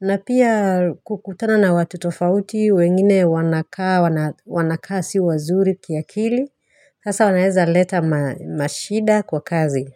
na pia kukutana na watu tofauti wengine wanakaa si wazuri ki akili, sasa wanaeza leta mashida kwa kazi.